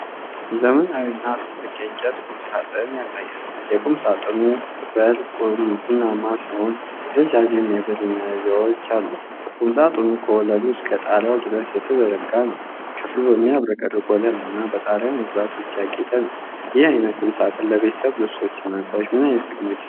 ዘመናዊ እና ትልቅ የእንጨት ቁምሳጥን ያሳያል። የቁምሳጥኑ በርጥቁርቡናማ ሲሆን ረዣዥም የብር መያዣዎች አሉት። ቁምሳጥኑ ከወለሉ እስከ ጣሪያው ድረስ የተዘረጋ ነው። ክፍሉ በሚያብረቀርቅ ወለል እና በጣሪያ መብራቶች ያጌጠ ነው። ይህ ዓይነት ቁምሳጥን ለቤተሰብ ልብሶችና እቃዎች ምን ዓይነት ጥቅሞች ይሰጣል?